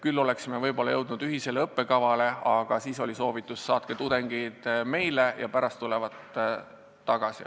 Küll oleksime võib-olla jõudnud kokkuleppele ühise õppekava osas, aga ikkagi nad soovitasid, et saatke tudengid meile ja pärast tulevad tagasi.